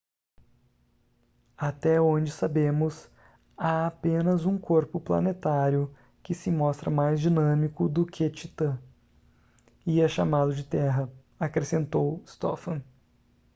até onde sabemos há apenas um corpo planetário que se mostra mais dinâmico do que titã e é chamado de terra acrescentou stofan